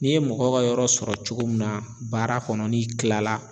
N'i ye mɔgɔ ka yɔrɔ sɔrɔ cogo min na baara kɔnɔ n'i tilala